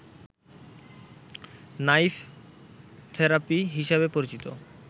knife therapy হিসেবে পরিচিত